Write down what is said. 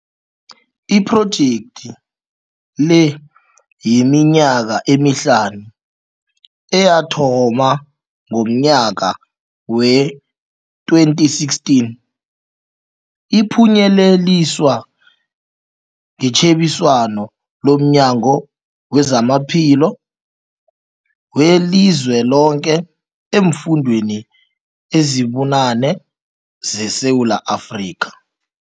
Iphrojekthi-le yeminyaka emihlanu, eyathoma ngomnyaka we-2016, iphunyeleliswa ngetjhebiswano lomNyango wezamaPhilo weliZweloke eemfundeni ezibunane ze Sewula Afrika.